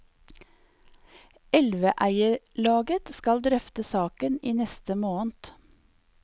Elveeierlaget skal drøfte saken i neste måned.